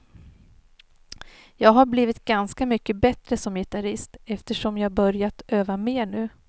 Jag har blivit ganska mycket bättre som gitarrist, eftersom jag börjat öva mer nu.